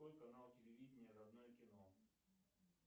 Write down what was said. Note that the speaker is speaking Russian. открой канал телевидения родное кино